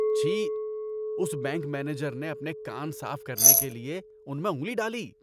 چھی۔ اس bank manager نے اپنے کان صاف کرنے کے لیے ان میں انگلی ڈالی۔